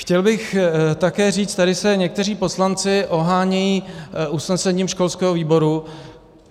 Chtěl bych také říct, tady se někteří poslanci ohánějí usnesením školského výboru.